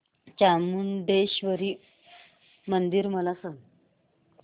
चामुंडेश्वरी मंदिर मला सांग